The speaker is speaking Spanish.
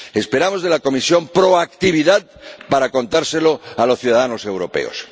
Esperamos de la Comisión proactividad para contárselo a los ciudadanos europeos.